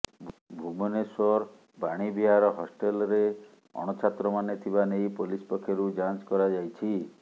ଭୁବନେଶ୍ବର ବାଣୀବିହାର ହଷ୍ଚେଲରେ ଅଣଛାତ୍ରମାନେ ଥିବା ନେଇ ପୋଲିସ ପକ୍ଷରୁ ଯାଞ୍ଚ କରାଯାଇଛି